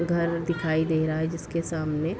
घर दिखाई दे रहा है जिसके सामने --